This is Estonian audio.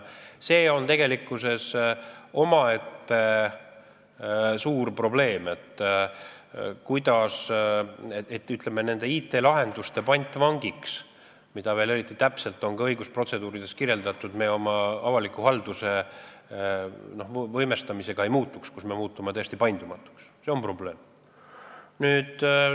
See on tegelikkuses omaette suur probleem, mida teha, et me ei muutuks oma avaliku halduse võimestamisega nende IT-lahenduste pantvangiks, mida veel eriti täpselt on õigusprotseduurides kirjeldatud ja mis meid tõesti paindumatuks muudavad.